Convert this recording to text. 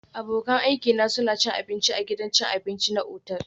Abokan aikina suna cin abinci a gidan cin abinci na otal